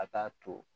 A t'a to